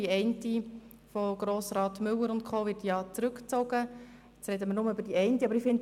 Die Motion von Grossrat Müller et al. wurde zurückgezogen, weshalb wir nur über die andere Motion sprechen.